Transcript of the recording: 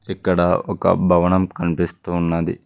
ఇక్కడ ఒక భవనం కనిపిస్తూ ఉన్నది.